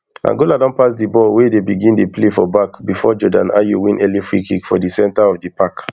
angola don pass di ball wey dey begin dey play for back bifor jordan ayew win early freekick for di center of di park